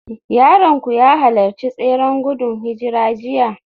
Yaronku ya halarci tseren gudun hijira jiya?